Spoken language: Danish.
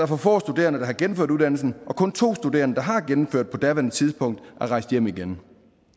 for få studerende der har gennemført uddannelsen og at kun to studerende der har gennemført på daværende tidspunkt er rejst hjem igen